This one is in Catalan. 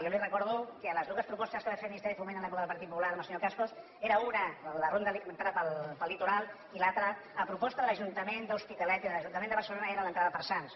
jo li recordo que les dues propostes que va fer el ministeri de foment en l’època del partit popular amb el senyor cascos eren una entrar pel litoral i l’altra a proposta de l’ajuntament de l’hospitalet i de l’ajuntament de barcelona era l’entrada per sants